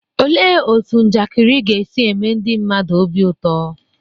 Olee otú njakịrị ga-esi eme ndị mmadụ obi ụtọ?